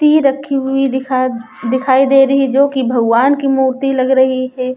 रखी हुई दिखा दिखाई दे रही है जो कि भगवान की मूर्ति लग रही हे ।